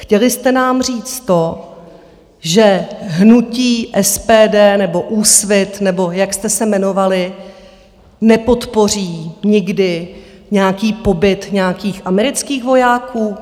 Chtěli jste nám říct to, že hnutí SPD, nebo Úsvit nebo jak jste se jmenovali, nepodpoří nikdy nějaký pobyt nějakých amerických vojáků?